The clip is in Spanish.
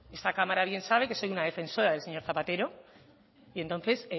esta cámara bien sabe que soy una defensora del señor zapatero y entonces